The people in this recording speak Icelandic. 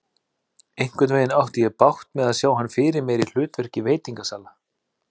Einhvernveginn átti ég bágt með að sjá hann fyrir mér í hlutverki veitingasala.